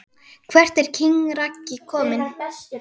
Hvert er king Raggi komin??